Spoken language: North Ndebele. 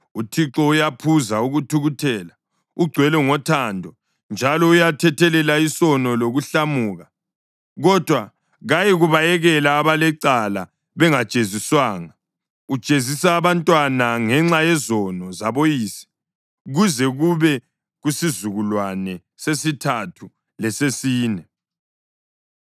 ‘ UThixo uyaphuza ukuthukuthela, ugcwele ngothando njalo uyathethelela isono lokuhlamuka. Kodwa kayikubayekela abalecala bengajeziswanga; ujezisa abantwana ngenxa yezono zaboyise kuze kube kusizukulwane sesithathu lesesine.’